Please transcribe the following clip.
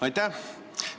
Aitäh!